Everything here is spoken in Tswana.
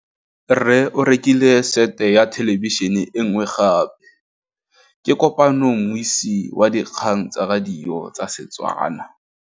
Rre o rekile sete ya thêlêbišênê e nngwe gape. Ke kopane mmuisi w dikgang tsa radio tsa Setswana.